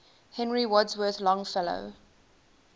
henry wadsworth longfellow